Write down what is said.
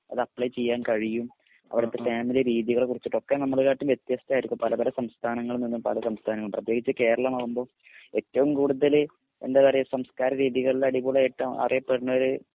അത് അപ്ലൈ ചെയ്യാൻ കഴിയും അവിടത്തെ ഫാമിലി രീതികളെക്കുറിച്ഛ് ഒക്കെ നമ്മളെ കാട്ടിൽ വെത്യസ്തയിരിക്കും പലപല സംസഥാനങ്ങളിൽ നിന്നും പല സംസ്ഥാനങ്ങൾ പ്രതേകിച് കേരളമാകുമ്പോ ഏറ്റവും കൂടുതൽ എന്താ പറയ സംസ്കാര രീതികളിൽ അടിപൊളി അറിയ പെടുണൊരു